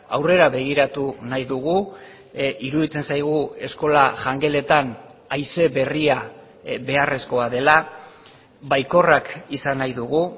aurrera begiratu nahi dugu iruditzen zaigu eskola jangeletan haize berria beharrezkoa dela baikorrak izan nahi dugu